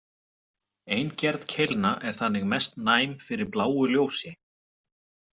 Ein gerð keilna er þannig mest næm fyrir bláu ljósi.